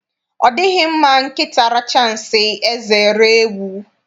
Ọ dịghị mma nkịta richaa nsị, eze eree ewu.